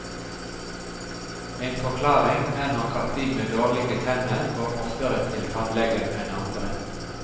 En forklaring er nok at de med dårlige tenner går oftere til tannlegen enn andre.